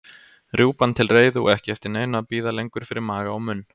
Rjúpan til reiðu og ekki eftir neinu að bíða lengur fyrir maga og munn.